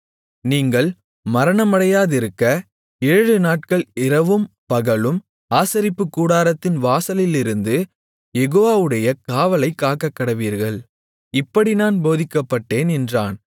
நீங்கள் மரணமடையாதிருக்க ஏழுநாட்கள் இரவும் பகலும் ஆசரிப்புக்கூடாரத்தின் வாசலிலிருந்து யெகோவாவுடைய காவலைக் காக்கக்கடவீர்கள் இப்படி நான் போதிக்கப்பட்டேன் என்றான்